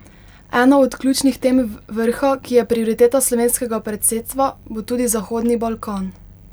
Ena od ključnih tem vrha, ki je prioriteta slovenskega predsedstva, bo tudi Zahodni Balkan.